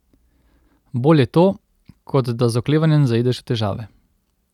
Bolje to, kot da z oklevanjem zaideš v težave.